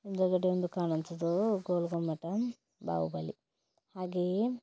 ಮುಂದುಗಡೆ ಕಾಣುತ್ತಿದ್ದೆ ಗೋಲ್ ಗುಮ್ಮಟ ಬಾಹುಬಲಿ ಹಾಗೆ --